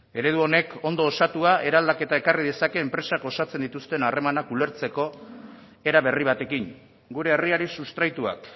eredu honek ondo osatua eraldaketa ekarri dezake enpresak osatzen dituzten harremanak ulertzeko era berri batekin gure herriari sustraituak